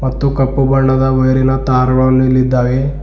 ಮತ್ತು ಕಪ್ಪು ಬಣ್ಣದ ವೈರಿನ ತಾರಗಳನ್ನು ಇಲ್ಲಿದ್ದಾವೆ.